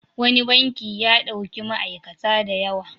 Wani banki ya ɗauki ma'aikata da yawa.